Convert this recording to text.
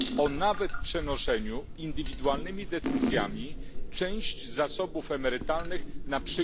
a nawet o przenoszeniu indywidualnymi decyzjami części zasobów emerytalnych, np.